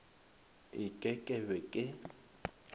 e ke ke be ke